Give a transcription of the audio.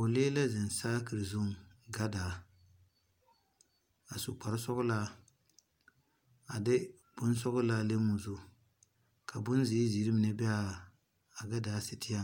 Poɔlee la zeng sakiri zung gadaa a su kpare sɔglaa a de bunsɔglaa le ɔ zu ka bunziiri ziiri mene be a gadaa setee